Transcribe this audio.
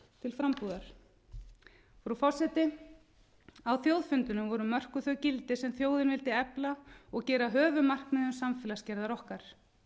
til frambúðar frú forseti á þjóðfundinum voru mörkuð þau gildi sem þjóðin vildi efla og gera að höfuðmarkmiðum samfélagsgerðar okkar